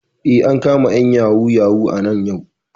Eh, an kama ƴan yahoo yahoo nan yau